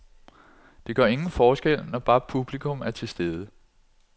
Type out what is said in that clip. Det gør ingen forskel, når bare publikum er tilstede.